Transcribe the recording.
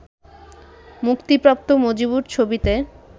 মুক্তিপ্রাপ্ত মজবুর ছবিতে